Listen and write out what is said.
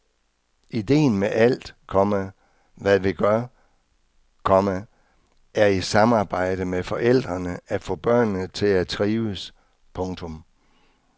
Idéen med alt, komma hvad vi gør, komma er i samarbejde med forældrene at få børnene til at trives. punktum